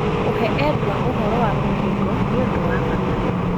Kũhe endwa ũhoro wa mũkingo nĩ ũndũ wa bata.